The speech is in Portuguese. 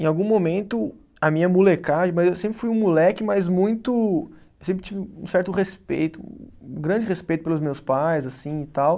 Em algum momento, a minha molecagem, mas eu sempre fui um moleque, mas muito, sempre tive um certo respeito, um grande respeito pelos meus pais, assim e tal.